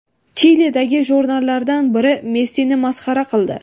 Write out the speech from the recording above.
Chilidagi jurnallardan biri Messini masxara qildi.